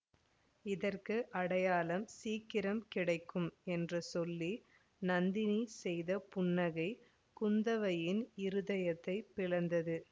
இதற்கு அடையாளம் சீக்கிரம் கிடைக்கும் என்று சொல்லி நந்தினி செய்த புன்னகை குந்தவையின் இருதயத்தைப் பிளந்தது